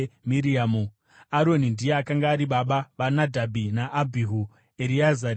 Aroni ndiye akanga ari baba vaNadhabhi naAbhihu, Ereazari naItamari.